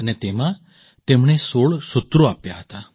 અને તેમાં તેમણે ૧૬ સૂત્રો આપ્યાં હતાં